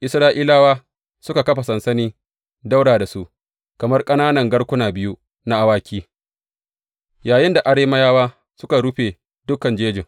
Isra’ilawa suka kafa sansani ɗaura da su kamar ƙananan garkuna biyu na awaki, yayinda Arameyawa suka rufe dukan jejin.